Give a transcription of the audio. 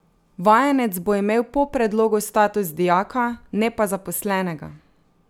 Vajenec bo imel po predlogu status dijaka, ne pa zaposlenega.